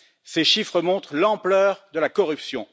Ces chiffres montrent l'ampleur de la corruption.